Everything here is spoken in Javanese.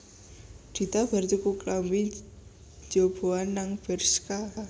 Dita bar tuku klambi njoboan nang Bershka